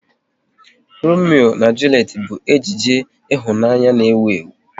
Romeo na Julet bụ ejije ịhụnanya n'ewu ewu